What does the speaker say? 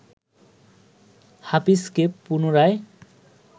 হাফিজকে পুনরায়